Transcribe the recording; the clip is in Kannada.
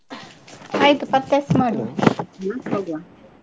ಆಯ್ತು purchase ಮಾಡುವ .